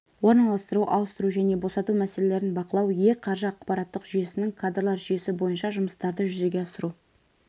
орналастыру ауыстыру және босату мәселелерін бақылау е-қаржы ақпараттық жүйесінің кадрлар жүйесі бойынша жұмыстарды жүзеге асыру